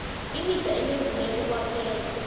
imida enembileko kwaphela